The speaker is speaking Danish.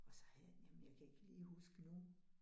Og så havde jeg nemlig, jeg kan ikke lige huske nu